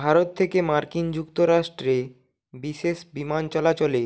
ভারত থেকে মার্কিন যুক্তরাষ্ট্রে বিশেষ বিমান চলাচলে